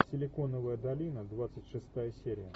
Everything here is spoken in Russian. силиконовая долина двадцать шестая серия